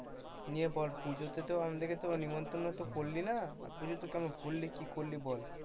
নিয়ে বল পুজোতে আমাদেরকে তো আর নিমন্ত্রণ তো করলি না পুজোতে কেমন ঘুরলি কি করলি বল?